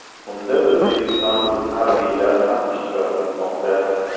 Unda o‘zbekistonlik harbiylar ham ishtirok etmoqda.